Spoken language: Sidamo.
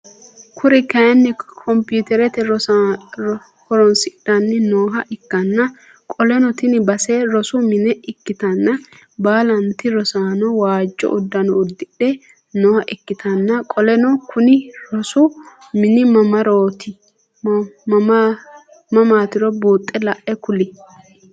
Kuri kaayiini kompiitere horonssidhanni nooha ikkanna qoleno tini base rosu mine ikkitanna baalantti rosaano waajjo uddano udidhe nooha ikkitanna qoleno Kuni rosu mini mamaatiro buuxe la'e kuli?